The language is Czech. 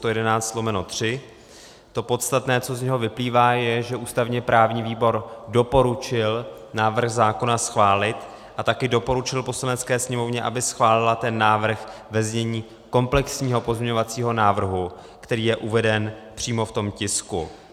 To podstatné, co z něho vyplývá, je, že ústavně-právní výbor doporučil návrh zákona schválit a také doporučil Poslanecké sněmovně, aby schválila ten návrh ve znění komplexního pozměňovacího návrhu, který je uveden přímo v tom tisku.